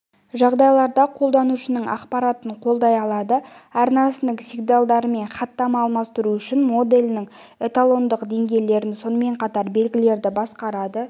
жағдайларда қолданушының ақпаратын қолдай алады арнасының сигналдарымен хаттама алмастыру үшін моделінің эталондық деңгейлерін сонымен қатар белгілерді басқарады